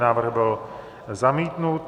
Návrh byl zamítnut.